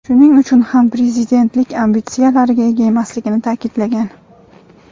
shuning uchun ham prezidentlik ambitsiyalariga ega emasligini ta’kidlagan.